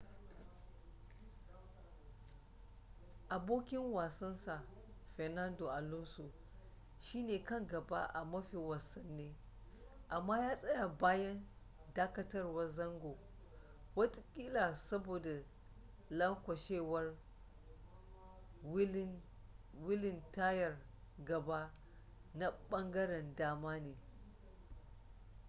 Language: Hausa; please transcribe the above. abokin wasansa fernando alonso shi ne kan gaba a mafi wasane amma ya tsaya bayan dakatawar zango watakila saboda lanƙwashewar wilin tayar gaba na ɓangaren dama ne